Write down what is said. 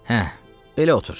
Hə, belə otur.